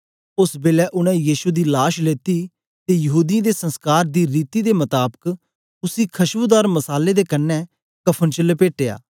ओस बेलै उनै यीशु दी लाश लेत्ती ते यहूदीयें दे संसकार दी रीति दे मताबक उसी खशबूदार मसाले दे कन्ने कफ़न च लपेटया